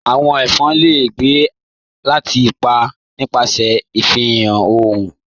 "Awọn ẹfọn le gbẹ̀ ati pa nipasẹ̀ ifihan ọ̀orun